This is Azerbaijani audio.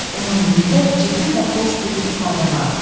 Onun üzündə ciddi və xoş bir ifadə vardı.